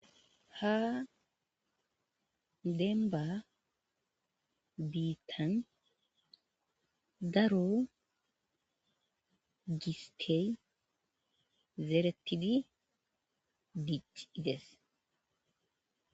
Ha demba biittan daro gistey zeretidi bic ides